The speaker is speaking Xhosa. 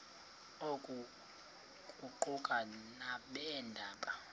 oku kuquka nabeendaba